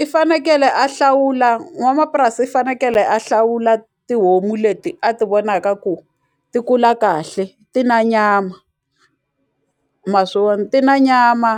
I fanekele a hlawula n'wamapurasi i fanekele a hlawula tihomu leti a ti vonaka ku ti kula kahle ti na nyama ma swi vona, ti na nyama